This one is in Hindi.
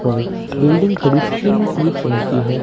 वहीं बिल्डिंग थोड़ी स्किन पीच रंग की है।